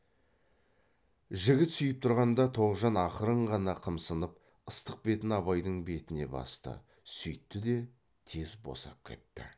жігіт сүйіп тұрғанда тоғжан ақырын ғана қымсынып ыстық бетін абайдың бетіне басты сүйтті де тез босап кетті